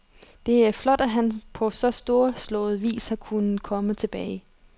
Det er flot, at han på så storslået vis har kunnet komme tilbage.